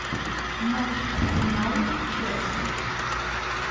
матч арсенала с челси